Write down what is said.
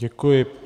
Děkuji.